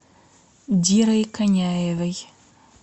дирой коняевой